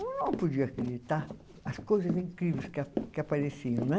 Eu não podia acreditar as coisas incríveis que a, que apareciam, né?